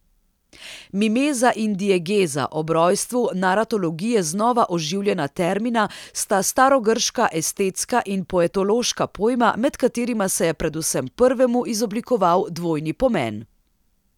Mimeza in diegeza, ob rojstvu naratologije znova oživljena termina, sta starogrška estetska in poetološka pojma, med katerima se je predvsem prvemu izoblikoval dvojni pomen.